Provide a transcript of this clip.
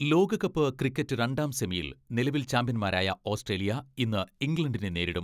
ലോകകപ്പ് ക്രിക്കറ്റ് രണ്ടാം സെമിയിൽ നിലവിൽ ചാംപ്യൻമാരായ ഓസ്ട്രേലിയ ഇന്ന് ഇംഗ്ലണ്ടിനെ നേരിടും.